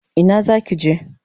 Ina zaki je?